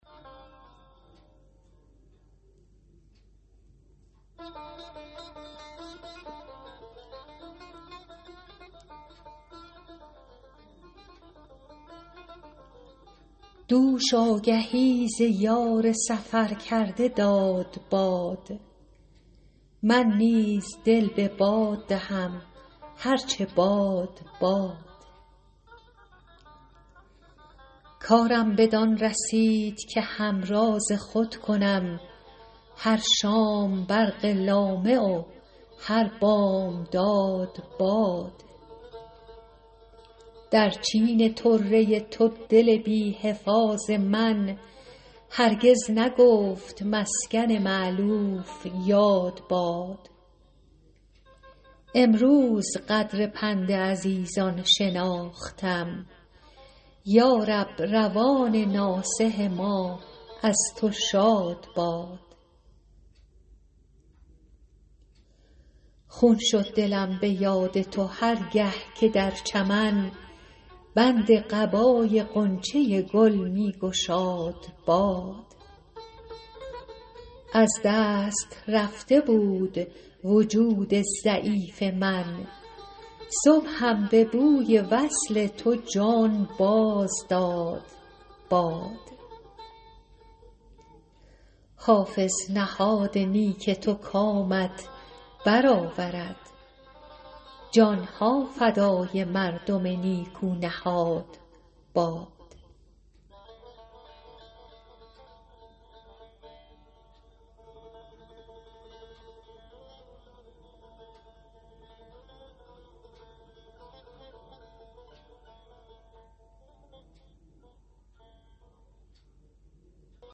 دوش آگهی ز یار سفر کرده داد باد من نیز دل به باد دهم هر چه باد باد کارم بدان رسید که همراز خود کنم هر شام برق لامع و هر بامداد باد در چین طره تو دل بی حفاظ من هرگز نگفت مسکن مألوف یاد باد امروز قدر پند عزیزان شناختم یا رب روان ناصح ما از تو شاد باد خون شد دلم به یاد تو هر گه که در چمن بند قبای غنچه گل می گشاد باد از دست رفته بود وجود ضعیف من صبحم به بوی وصل تو جان باز داد باد حافظ نهاد نیک تو کامت بر آورد جان ها فدای مردم نیکو نهاد باد